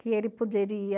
Que ele poderia...